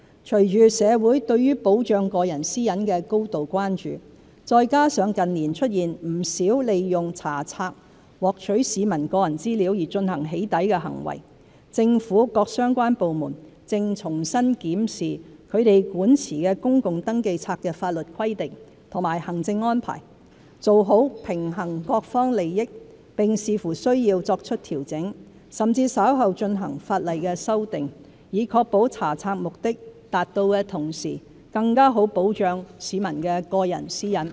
隨着社會對保障個人私隱的高度關注，再加上近年出現不少利用查冊獲取市民個人資料而進行"起底"的行為，政府各相關部門正重新檢視其管持的公共登記冊的法律規定和行政安排，做好平衡各方利益，並視乎需要作出調整，甚至稍後進行法例修訂，以確保查冊目的達到的同時，更好地保障市民的個人私隱。